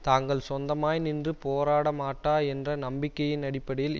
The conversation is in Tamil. தாங்கள் சொந்தமாய் நின்று போராடமாட்டா என்ற நம்பிக்கையின் அடிப்படையில்